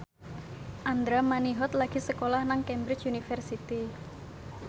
Andra Manihot lagi sekolah nang Cambridge University